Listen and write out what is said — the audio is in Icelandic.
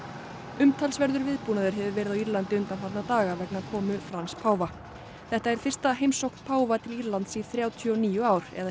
umtalsverður viðbúnaður hefur verið á Írlandi undanfarna daga vegna komu Frans páfa þetta er fyrsta heimsókn páfa til Írlands í þrjátíu og níu ár eða